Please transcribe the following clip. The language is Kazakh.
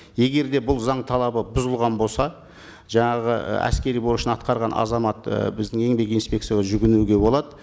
егер де бұл заң талабы бұзылған болса жаңағы і әскери борышын атқарған азамат і біздің еңбек инспекцияға жүгінуге болады